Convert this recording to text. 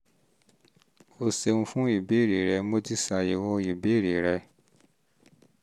o ṣeun fún ìbéèrè rẹ mo ti ṣe àyẹ̀wò ìbéèrè rẹ